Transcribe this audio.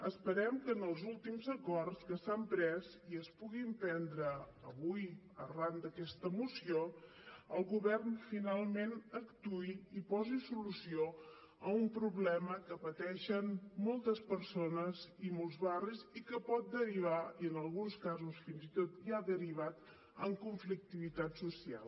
esperem que en els últims acords que s’han pres i es puguin prendre avui arran d’aquesta moció el govern finalment actuï i posi solució a un problema que pateixen moltes persones i molts barris i que pot derivar i en alguns casos fins i tot ja ha derivat en conflictivitat social